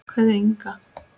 Kveðja, Inga.